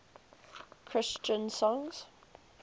christian songs